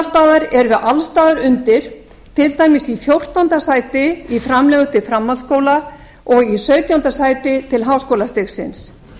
staðar erum við alls staðar undir til dæmis í fjórtánda sæti í framlögum til framhaldsskóla og í sautjánda sæti til háskólastigsins